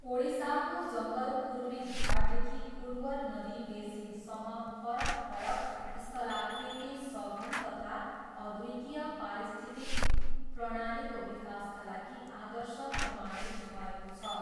ओडिसाको जङ्गल पूर्वी घाटदेखि उर्वर नदी बेसिनसम्म फरक फरक स्थलाकृति सघन तथा अद्वितीय पारिस्थितिक प्रणालीको विकासका लागि आदर्श प्रमाणित भएको छ।